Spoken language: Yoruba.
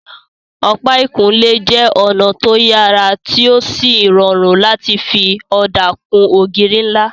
Ọ̀pá ìkunlé jẹ́ ọ̀nà tó yàrá tí ó sì rọrùn láti fi ọ̀dà kun ògiri ńlá